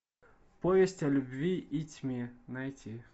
повесть о любви и тьме найти